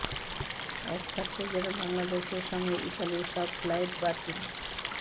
এক সপ্তাহের জন্য বাংলাদেশের সঙ্গে ইতালির সব ফ্লাইট বাতিল